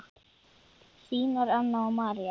Þínar Anna og María.